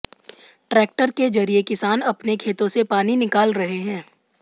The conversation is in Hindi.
ट्रैक्टर के जरिए किसान अपने खेतों से पानी निकाल रहे हैं